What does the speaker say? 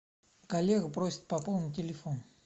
коллега просит пополнить телефон